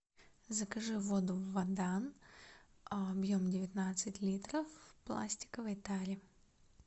закажи воду водан объем девятнадцать литров в пластиковой таре